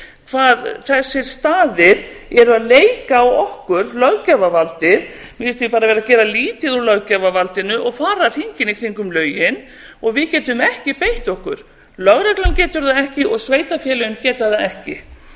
hvað þessir staðir eru að leika á okkur löggjafarvaldið mér finnst þeir bara vera að gera lítið úr löggjafarvaldinu og fara hringinn í kringum lögin og við getum ekki beitt okkur lögreglan getur það ekki og sveitarfélögin geta